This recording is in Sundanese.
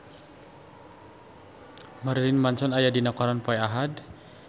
Marilyn Manson aya dina koran poe Ahad